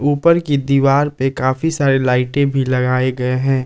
ऊपर की दीवार पर काफी सारे लाइटें भी लगाए गए हैं।